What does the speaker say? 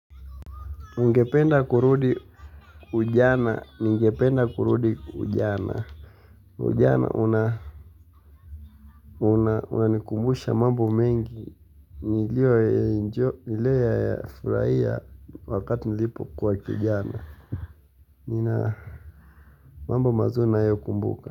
Ningependa kurudi ujana, ningependa kurudi ujana, ujana unanikumbusha mambo mengi, niliyoinjoi, nilio yafurahia wakati nilipokuwa kijana, nina mambo mazuri nayokumbuka.